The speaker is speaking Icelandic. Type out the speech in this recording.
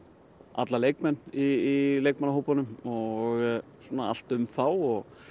alla leikmenn í og allt um þá og